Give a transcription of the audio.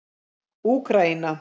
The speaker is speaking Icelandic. Úkraína